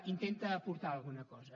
intenta aportar alguna cosa